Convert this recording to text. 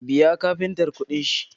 Biya kafintar kuɗin shi